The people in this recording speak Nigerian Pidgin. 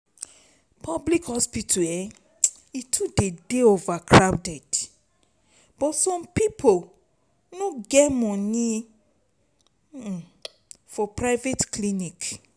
public hospital um dey crowded but some pipo no get money um for private clinic.